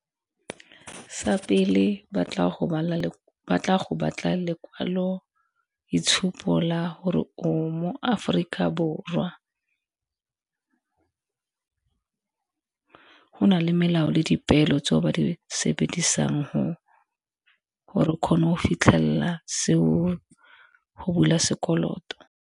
Sa pele ba tla go batla lekwalo itshupo la gore o mo Aforika Borwa, go na le melao le dipeelo tseo ba di sebedisang gore o kgone go fitlhelela seo go bula sekoloto.